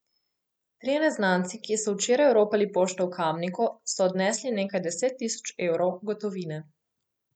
Trije neznanci, ki so včeraj oropali pošto v Kamniku, so odnesli nekaj deset tisoč evrov gotovine.